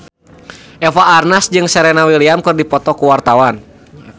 Eva Arnaz jeung Serena Williams keur dipoto ku wartawan